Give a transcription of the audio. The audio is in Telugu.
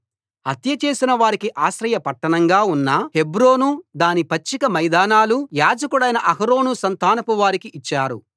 హత్యచేసిన వారికి ఆశ్రయ పట్టణంగా ఉన్న హెబ్రోను దాని పచ్చిక మైదానాలు యాజకుడైన అహరోను సంతానపు వారికి ఇచ్చారు